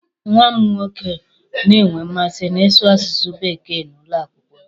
Nwa m nwoke na-enwe mmasị n'ịsụ asụsụ bekee n'ụlọakwụkwọ ha.